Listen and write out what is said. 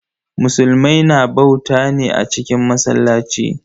Musulmai na bauta ne a cikin masallaci.